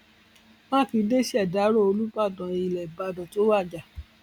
mákindé ṣèdàrọ olùbàdàn ilẹ ìbàdàn tó wájà